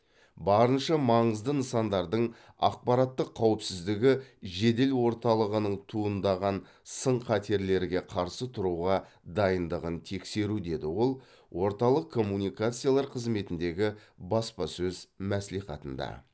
барынша маңызды нысандардың ақпараттық қауіпсіздігі жедел орталығының туындаған сын қатерлерге қарсы тұруға дайындығын тексеру деді ол орталық коммуникациялар қызметіндегі баспасөз мәслихатында